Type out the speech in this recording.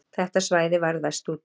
Þetta svæði varð verst úti